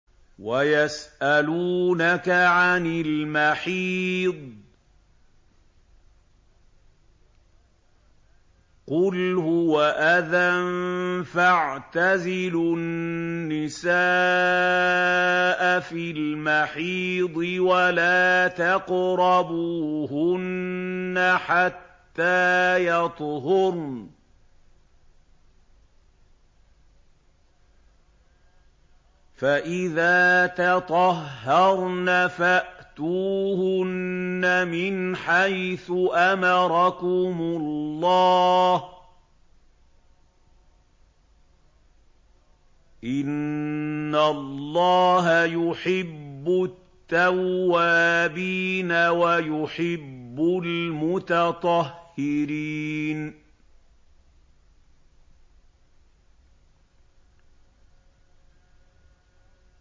وَيَسْأَلُونَكَ عَنِ الْمَحِيضِ ۖ قُلْ هُوَ أَذًى فَاعْتَزِلُوا النِّسَاءَ فِي الْمَحِيضِ ۖ وَلَا تَقْرَبُوهُنَّ حَتَّىٰ يَطْهُرْنَ ۖ فَإِذَا تَطَهَّرْنَ فَأْتُوهُنَّ مِنْ حَيْثُ أَمَرَكُمُ اللَّهُ ۚ إِنَّ اللَّهَ يُحِبُّ التَّوَّابِينَ وَيُحِبُّ الْمُتَطَهِّرِينَ